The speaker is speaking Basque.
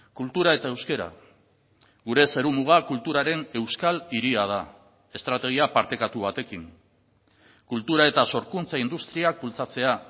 kultura eta euskara gure zerumuga kulturaren euskal hiria da estrategia partekatu batekin kultura eta sorkuntza industriak bultzatzea